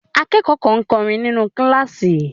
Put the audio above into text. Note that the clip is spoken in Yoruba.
Akẹ́kọ̀ọ́ kan ń kọrin nínú kíláàsì.